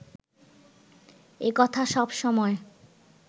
এ কথা সবসময়